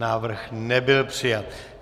Návrh nebyl přijat.